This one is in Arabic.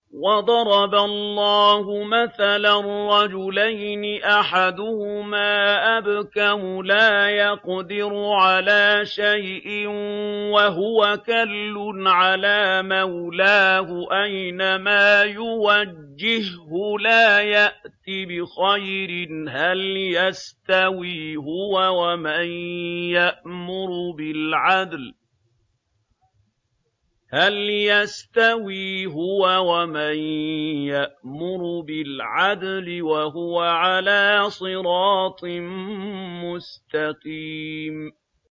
وَضَرَبَ اللَّهُ مَثَلًا رَّجُلَيْنِ أَحَدُهُمَا أَبْكَمُ لَا يَقْدِرُ عَلَىٰ شَيْءٍ وَهُوَ كَلٌّ عَلَىٰ مَوْلَاهُ أَيْنَمَا يُوَجِّههُّ لَا يَأْتِ بِخَيْرٍ ۖ هَلْ يَسْتَوِي هُوَ وَمَن يَأْمُرُ بِالْعَدْلِ ۙ وَهُوَ عَلَىٰ صِرَاطٍ مُّسْتَقِيمٍ